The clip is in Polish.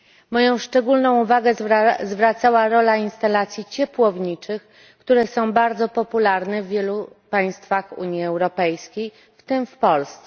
Moją szczególną uwagę zwracała rola instalacji ciepłowniczych, które są bardzo popularne w wielu państwach Unii Europejskiej, w tym w Polsce.